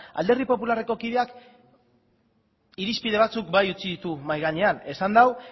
alderdi popularreko kideak irizpide batzuk bai utzi ditu mahai gainean esan du